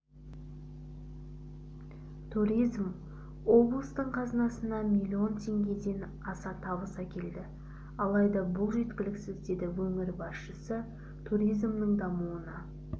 туризм облыстың қазынасына миллион теңгеден аса табыс әкелді алайда бұл жеткіліксіз деді өңір басшысы туризмнің дамуына